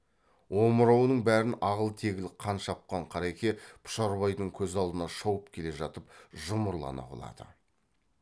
омырауының бәрін ағыл тегіл қан жапқан қареке пұшарбайдың көз алдында шауып келе жатып жұмырлана құлады